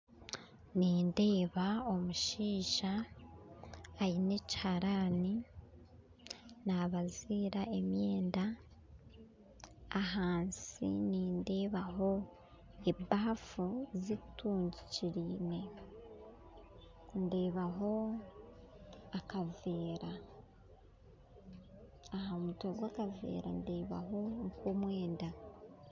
Nindeeba omushaija aine ekiharaani nabaziira emyenda ahansi nindeebaho ebafu etugukire ndebaho akaveera ahamutwe gwakaveera ndebaho omwenda